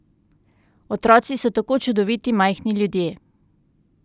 Otroci so tako čudoviti majhni ljudje!